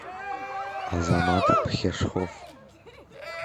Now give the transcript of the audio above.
азамат пхешхов